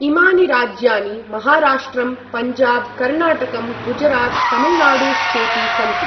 इमानि राज्यानि महाराष्ट्रं पञ्जाब कर्णाटकं गुजरात तमिलनाडुश्चेति सन्ति।